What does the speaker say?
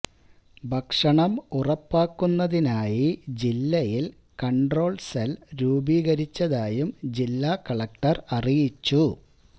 ഭക്ഷണം ഉറപ്പാക്കുന്നതിനായി ജില്ലയിൽ കൺട്രോൾ സെൽ രൂപീകരിച്ചതായും ജില്ലാ കലക്ടർ അറിയിച്ചു